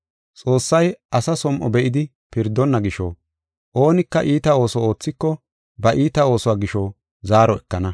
Xoossay asa som7o be7idi pirdonna gisho, oonika iita ooso oothiko ba iita oosuwa gisho zaaro ekana.